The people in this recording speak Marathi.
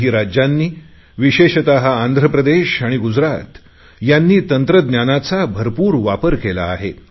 काही राज्यांनी विशेषत आंध्र प्रदेश गुजरात यांनी तंत्रज्ञानाचा भरपूर वापर केला आहे